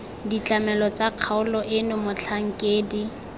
ditlamelo tsa kgaolo eno motlhankedi